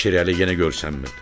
Şirəli yenə görsənmirdi.